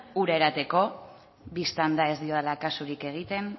ura edateko bistan da ez diodala kasurik egiten